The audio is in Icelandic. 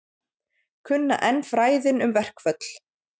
Kunna enn fræðin um verkföll